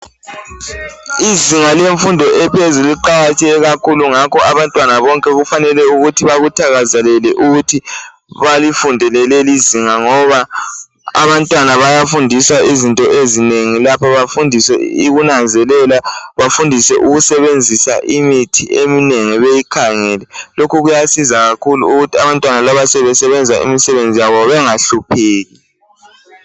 Izinga lemfundo ephezulu liqakatheke kakhulu. Ngakho abantwana bonke kufanele ukuthi bakuthakazelele ukuthi balifunde lonalelizinga. Ngoba abantwana bayafundiswa izinto ezinengi lapha. Bafundiswe ukunanzelela. Bafundiswe ukusebenzisa ikithi eminengi beyikhangele . Lokhu kuyasiza kakhulu, ukuthi abantwana laba sebesebenza imisebenzi yabo, bengahlupheki.